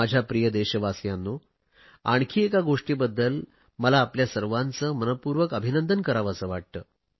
माझ्या प्रिय देशवासियांनो आणखी एका गोष्टीबद्दल मला आपले सर्वांचे मनपूर्वक अभिनंदन करावेसे वाटते